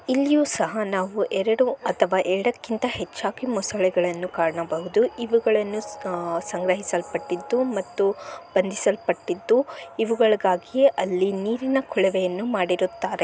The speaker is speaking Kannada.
ಇಲ್ಲಿಯೂ ಸಹ ನಾವು ಎರಡು ಅಥವಾ ಎರಡಕ್ಕಿಂತ ಹೆಚ್ಚಾಗಿ ಮೊಸಳೆಗಳನ್ನು ಕಾಣಬಹುದು ಇವುಗಳನ್ನು ಸಂಗ್ರಹಿಸಲ್ಪಟ್ಟಿದ್ದು ಮತ್ತು ಬಂದಿಲ್ಪಟ್ಟಿದ್ದು ಇವುಗಳಿಗಾಗಿಯೇ ಅಲ್ಲಿ ನೀರಿನ ಕೊಳವೆಯನ್ನು ಮಾಡಿರುತ್ತಾರೆ.